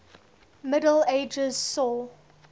middle ages saw